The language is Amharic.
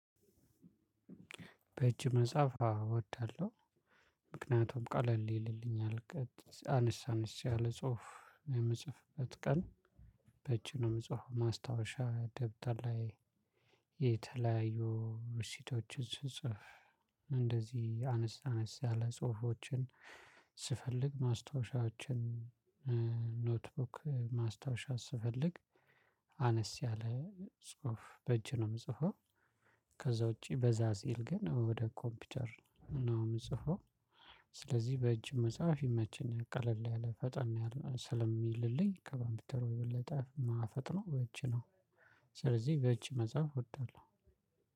በእጅ መጻፍ አወዳለሁ ምክንያቱም ቀለል ይልልኛል አነስ አነስ ያለ ጽሁፍ የምጽፍበት ቀን። በእጄ ነው የምጽፈው ማስታወሻ ደብተር ላይ። የተለያዩ ሽቶችን ስጽፍ እንደዚህ አነስ አነስ ያለ ጽሁፎችን ስፈልግ ማስታወሻዎችን። ኖትቡክ ማስታወሻ ስፈልግ አነስ ያለ ጽሁፍ በእጅ ነው የምጽፈው። ከዛ ውጪ በዛ ሲል ግን ወደ ኮምፒውተር ነው የምጽፈው። ስለዚህ በእጅ መጻፍ ይመቸኛል ቀለል ያለ ፈጠን ስለሚልልኝ ከኮምፒተሩ የበለጠ የማፈጥነው በእጅ ነው። ስለዚህ በእጅ መጻፍ እወዳለሁ።